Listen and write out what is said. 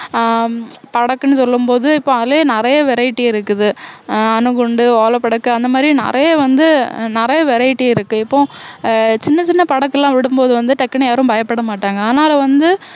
அஹ் படக்குன்னு சொல்லும் போது இப்ப அதுலயே நிறைய variety இருக்குது அஹ் அணுகுண்டு ஓல படுக்கை அந்த மாதிரி நிறைய வந்து நிறைய variety இருக்கு இப்போ அஹ் சின்ன சின்ன படக்கெல்லாம் விடும் போது வந்து டக்குன்னு யாரும் பயப்பட மாட்டாங்க ஆனாலும் வந்து